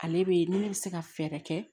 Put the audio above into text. Ale be ni ne be se ka fɛɛrɛ kɛ